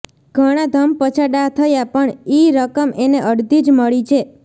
ઘણા ધમપછાડા થયા પણ ઈ રકમ એને અડધી જ મળી છે